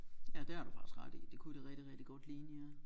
Ja det har du faktisk ret i det kunne det rigtig rigtig godt ligne ja